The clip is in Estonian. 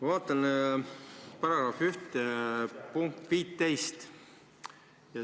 Vaatan § 1 punkti 15.